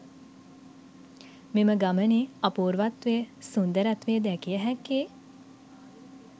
මෙම ගමනේ අපූර්වත්වය, සුන්දරත්වය දැකිය හැක්කේ